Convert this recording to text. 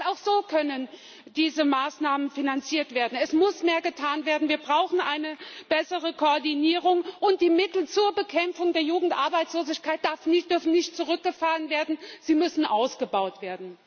Denn auch so können diese Maßnahmen finanziert werden. Es muss mehr getan werden, wir brauchen eine bessere Koordinierung, und die Mittel zur Bekämpfung der Jugendarbeitslosigkeit dürfen nicht zurückgefahren werden, sie müssen ausgebaut werden!